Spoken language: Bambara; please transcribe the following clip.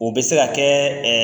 O bɛ se ka kɛ